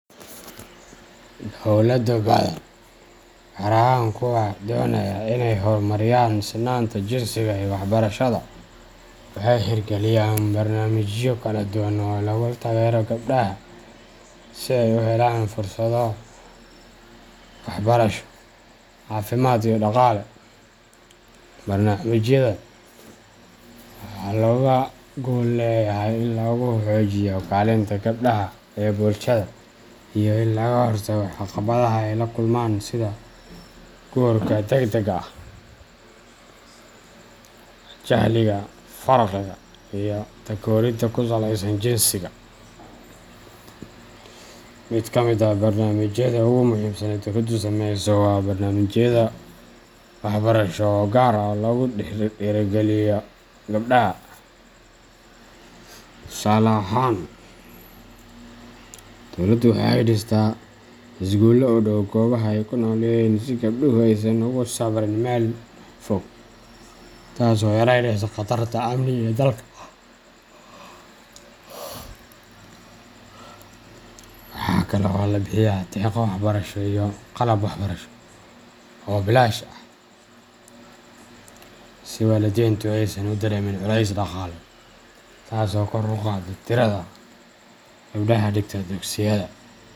Dowlado badan, gaar ahaan kuwa doonaya in ay horumariyaan sinnaanta jinsiga iyo waxbarashada, waxay hirgeliyeen barnaamijyo kala duwan oo lagu taageerayo gabdhaha si ay u helaan fursado waxbarasho, caafimaad, iyo dhaqaale. Barnaamijyadan waxaa looga gol leeyahay in lagu xoojiyo kaalinta gabdhaha ee bulshada iyo in laga hortago caqabadaha ay la kulmaan sida guurka degdega ah, jahliga, faqriga, iyo takooridda ku saleysan jinsiga. Mid ka mid ah barnaamijyada ugu muhiimsan ee dowladdu samayso waa barnaamijyada waxbarasho ee gaar ah oo lagu dhiirrigeliyo gabdhaha. Tusaale ahaan, dowladdu waxay dhistaa iskuullo u dhow goobaha ay ku nool yihiin si gabdhuhu aysan ugu safriin meel fog, taas oo yareynaysa khatarta amni iyo daalka. Waxaa kale oo la bixiyaa deeqo waxbarasho iyo qalab waxbarasho oo bilaash ah si waalidiintu aysan u dareemin culays dhaqaale, taas oo kor u qaadda tirada gabdhaha dhigta dugsiyada.